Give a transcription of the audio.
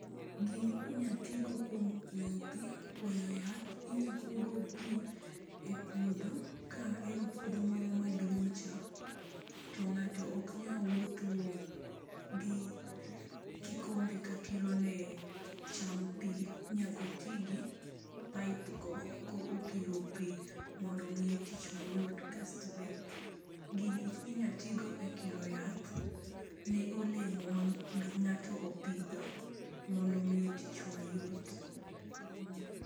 Gini inya tigo kuom kuoyo pii, kuoyo yath. Inya kuo go pii e puodho ka en puodho moro maduong cha to ngato ok nyal wuotho gi kikombe ka kiro ne cham pii nyaka otii gi pipe go ka okiro pii mondo omiye tich mayot. Kaito be gini inya tii go e kiro yath ne olemo ma ngato opidho mondo omiye tich mayot, mmm